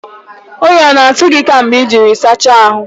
Oyi ọ na-atụ gị kemgbe ịjiri sacha ahụ?